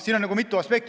Seal on mitu aspekti.